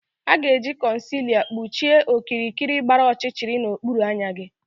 A ga-eji concealer kpuchie okirikiri gbara ọchịchịrị n'okpuru anya gị